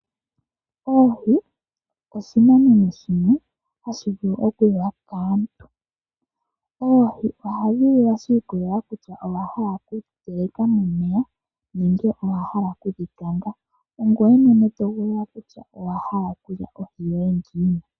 Oohi, oshinamwenyo shimwe hashi vulu oku liwa kaantu. Oohi oha dhi liwa , shi ikolelela kutya owa hala oku dhi teleka momeya, nenge owa hala oku dhi kanga, ongweye mwene to hogolola kutya owa hala oku lya ohi yoye ngiini.